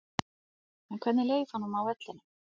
En hvernig leið honum á vellinum?